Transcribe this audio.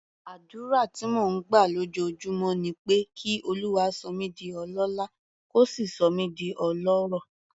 Àdúrà tí mò ń gbà lójoojúmọ́ ni pé kí Olúwa sọ mí di ọlọ́lá, kó sì sọ mí di ọlọ́rọ̀.